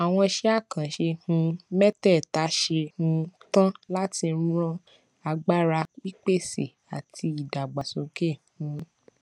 àwọn iṣé àkànṣe um métèèta ṣe um tán láti ran agbára pípèsè àti ìdàgbàsókè um